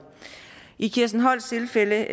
i kirsten holsts tilfælde